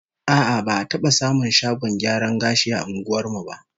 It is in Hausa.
A'a, ba'a taba samun shagon gyaran gashi a unguwar mu ba